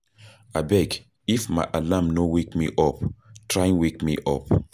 Abeg if my alarm no wake me up, try wake me.